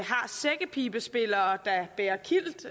har sækkepibespillere der bærer kilt